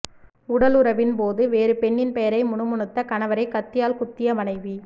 உடலுறவின் போது வேறு பெண்ணின் பெயரை முணுமுணுத்த கணவரை கத்தியால் குத்திய மனைவி